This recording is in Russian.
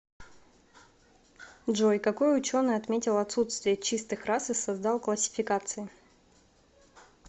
джой какой ученый отметил отсутствие чистых рас и создал классификации